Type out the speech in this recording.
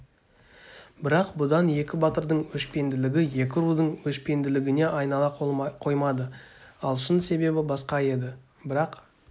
бірақ бұдан екі батырдың өшпенділігі екі рудың өшпенділігіне айнала қоймады ал шын себебі басқа еді бірақ